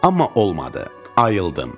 Amma olmadı, ayıldım.